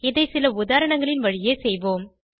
இதை சில உதாரணங்களின் வழியே செய்வோம்